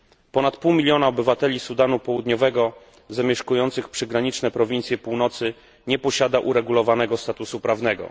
Ponad pół milionA obywateli Sudanu Południowego zamieszkujących przygraniczne prowincje północy nie posiada uregulowanego statusu prawnego.